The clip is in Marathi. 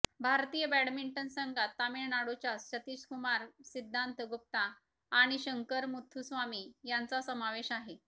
भारतीय बॅडमिंटन संघात तामिळनाडूच्या सतीशकुमार सिद्धांत गुप्ता आणि शंकर मुथुस्वामी यांचा समावेश आहे